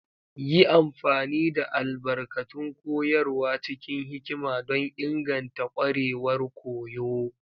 Yi amfani da albarkatun koyarwa cikin hikima don inganta ƙwarewar koyo.